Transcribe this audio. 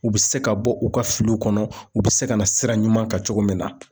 U be se ka bɔ u ka filiw kɔnɔ u be se ka na sira ɲuman kan cogo min na